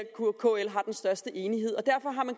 kl har den største enighed derfor har man